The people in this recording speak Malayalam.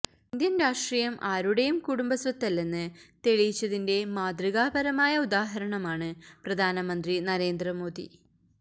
ഇന്ത്യന് രാഷ്ട്രീയം ആരുടെയും കുടുംബസ്വത്തല്ലെന്ന് തെളിയിച്ചതിന്റെ മാതൃകാപരമായ ഉദാഹരണമാണ് പ്രധാനമന്ത്രി നരേന്ദ്രമോദി